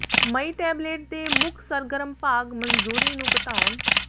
ਮਈ tablet ਦੇ ਮੁੱਖ ਸਰਗਰਮ ਭਾਗ ਮਨਜ਼ੂਰੀ ਨੂੰ ਘਟਾਉਣ